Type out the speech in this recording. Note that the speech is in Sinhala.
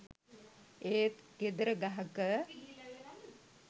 ඒත් ගෙදර ගහක